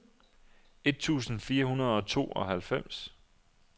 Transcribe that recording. et tusind fire hundrede og tooghalvfems